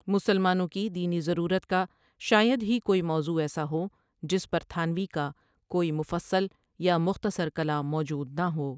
مسلمانوں کی دینی ضرورت کا شاید ہی کوئی موضوع ایسا ہو جس پر تھانوی کا کوئی مفصل یا مختصر کلام موجود نہ ہو۔